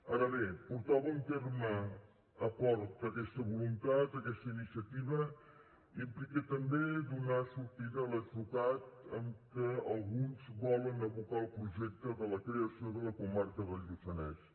ara bé portar a bon terme a port aquesta voluntat aquesta iniciativa implica també donar sortida a l’atzucac amb què alguns volen abocar el projecte de la creació de la comarca del lluçanès